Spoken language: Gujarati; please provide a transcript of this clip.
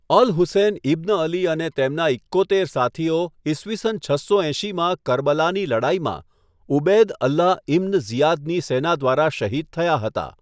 અલ હુસેન ઇબ્ન અલી અને તેમના ઈક્કોતેર સાથીઓ ઈસવીસન છસો એંશીમાં કરબલાની લડાઈમાં ઉબૈદ અલ્લાહ ઇબ્ન ઝિયાદની સેના દ્વારા શહીદ થયા હતા.